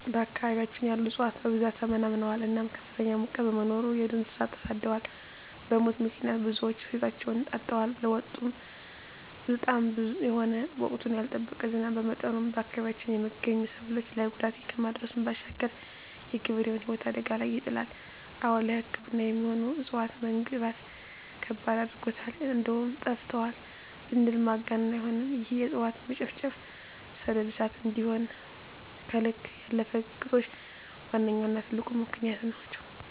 በአካባቢያችን ያሉ እፅዋት በብዛት ተመናምነዋል እናም ከፍተኛ ሙቀት በመኖሩ የዱር እንሰሳት ተሰደዋል በሙት ምክንያት ብዙወች ህይወታቸዉን አጠዋል። ለዉጡም በጣም መጥፎ የሆነ ወቅቱን ያልጠበቀ ዝናብ በመዝነቡ በአካባቢያችን የመገኙ ሰብሎች ላይ ጉዳት ከማድረሱም ባሻገር የገበሬዉን ህይወት አደጋ ላይ ይጥላል። አወ ለሕክምና የሚሆኑ እፅዋትን መግኘት ከባድ አድርጎታል እንደዉም ጠፍተዋል ብንል ማጋነን አይሆንም ይህም የእፅዋት መጨፍጨፍ፣ ሰደድ እሳት እንዲሆም ከልክ ያለፈ ግጦሽ ዋነኛዉና ትልቁ ምክንያት ናቸዉ።